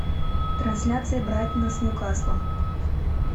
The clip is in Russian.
трансляция брайтона с ньюкаслом